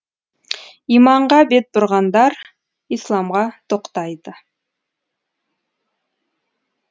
иманға бет бұрғандар исламға тоқтайды